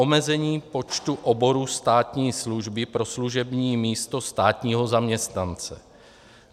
Omezení počtu oborů státní služby pro služební místo státního zaměstnance.